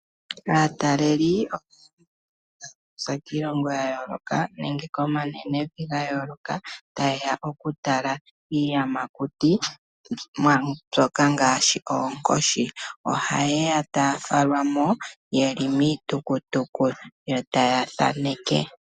Aataleli okuza kiilongo ya yooloka nenge komanenevi ga yooloka taye ya okutala iiyamakuti mbyoka ngaashi oonkoshi, ohaye ya taafalwa mo ye li miitukutuku yo ta ya thaneke.